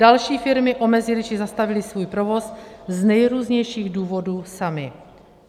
Další firmy omezily či zastavily svůj provoz z nejrůznějších důvodů samy.